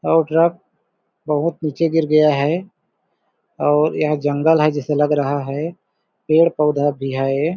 और ट्रक बहुत नीचे गिर गया है और यह जंगल है जैसे लग रहा है पेड़ पौधा भी है।